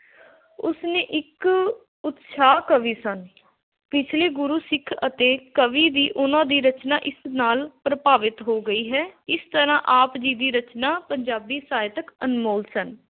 ਉਸਨੇ ਇੱਕ ਉਤਸ਼ਾਹ ਕਵੀ ਸਨ। ਪਿਛਲੇ ਗੁਰੂ ਸਿੱਖ ਅਤੇ ਕਵੀ ਦੀ ਉਹਨਾ ਦੀ ਰਚਨਾ ਇਸ ਨਾਲ ਪ੍ਰਭਾਵਿਤ ਹੋ ਗਈ ਹੈ। ਇਸ ਤਰ੍ਹਾਂ ਆਪ ਜੀ ਦੀ ਰਚਨਾ ਪੰਜਾਬੀ ਸਾਹਿਤਕ ਅਨਮੋਲ ਸਨ।